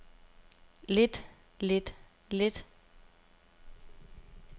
lidt lidt lidt